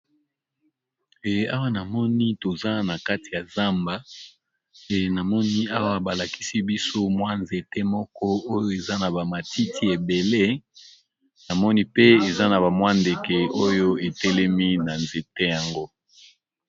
Awa namoni toza na kati ya zamba e namoni awa balakisi biso mwa nzete moko oyo eza na ba matiti ebele, namoni pe eza na bamwa ndeke oyo etelemi na nzete yango.